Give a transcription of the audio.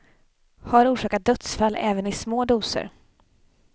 Har orsakat dödsfall även i små doser.